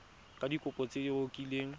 ka dikopo tse o kileng